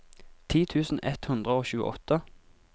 ti tusen ett hundre og tjueåtte